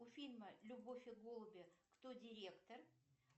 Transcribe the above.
у фильма любовь и голуби кто директор